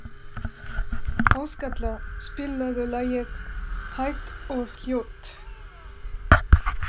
Áskatla, spilaðu lagið „Hægt og hljótt“.